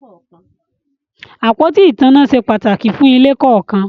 Àpótí ìtanná se pàtàkì fún ilé kọ̀ọ̀kan